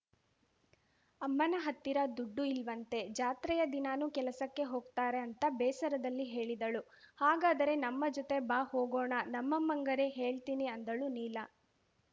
ಅಮ್ಮನ ಹತ್ತಿರ ದುಡ್ಡು ಇಲ್ವಂತೆ ಜಾತ್ರೆಯ ದಿನನೂ ಕೆಲಸಕ್ಕೆ ಹೋಗ್ತಾರೆ ಅಂತ ಬೇಸರದಲ್ಲಿ ಹೇಳಿದಳು ಹಾಗಾದರೆ ನಮ್ಮ ಜೊತೆ ಬಾ ಹೋಗೋಣ ನಮ್ಮಮ್ಮಂಗರೆ ಹೇಳ್ತೀನಿ ಅಂದಳು ನೀಲ